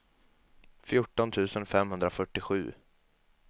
fjorton tusen femhundrafyrtiosju